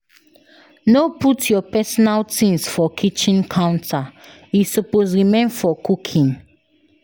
No put your personal things for kitchen counter, e suppose remain for cooking.